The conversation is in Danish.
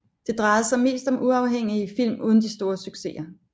Det drejede sig mest om uafhængige film uden de store succeser